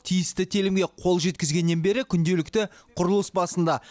тиісті телімге қол жеткізгеннен бері күнделікті құрылыс басында